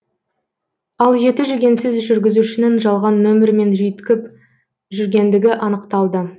ал жеті жүгенсіз жүргізушінің жалған нөмірімен жүйткіп жүргендігі анықталды